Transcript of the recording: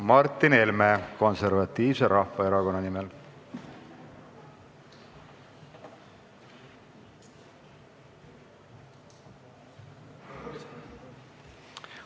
Martin Helme Konservatiivse Rahvaerakonna nimel.